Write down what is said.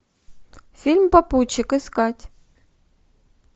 фильм попутчик искать